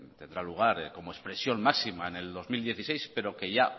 tendrá lugar como expresión máxima en el dos mil dieciséis pero que ya